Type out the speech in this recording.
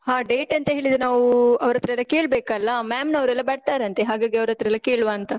ಹಾ date ಎಂತ ಹೇಳಿದ್ರೆ ನಾವೂ, ಅವ್ರ್ ಹತ್ರ ಎಲ್ಲ ಕೇಳ್ಬೇಕಲ್ಲಾ, ma'am ನವ್ರೆಲ್ಲ ಬರ್ತಾರಂತೆ, ಹಾಗಾಗಿ ಅವ್ರ್ ಹತ್ರ ಎಲ್ಲ ಕೇಳುವಾಂತ?